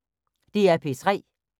DR P3